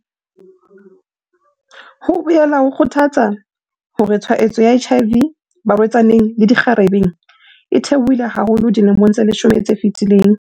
Ho boela ho kgothatsa hore tshwaetso ya HIV barwe-tsaneng le dikgarebe e the-ohile haholo dilemong tse leshome tse fetileng.